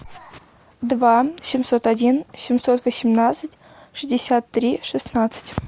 два семьсот один семьсот восемнадцать шестьдесят три шестнадцать